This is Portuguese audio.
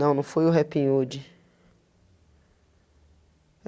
Não, não foi o Happy Hood.